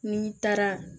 N'i taara